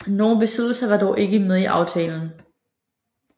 Nogle besiddelser var dog ikke med i aftalen